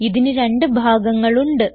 ഇതിന് രണ്ട് ഭാഗങ്ങൾ ഉണ്ട്